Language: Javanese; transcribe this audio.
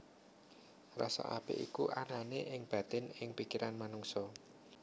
Rasa apik iku anané ing batin ing pikiran manungsa